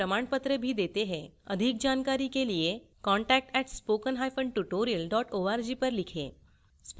अधिक जानकारी के लिए contact @spokentutorial org पर लिखें